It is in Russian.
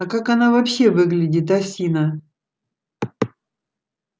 а как она вообще выглядит осина